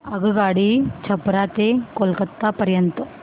आगगाडी छपरा ते कोलकता पर्यंत